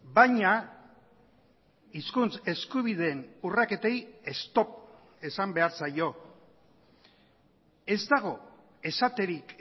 baina hizkuntz eskubideen urraketei stop esan behar zaio ez dago esaterik